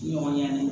Ɲɔgɔn ɲɛnɛn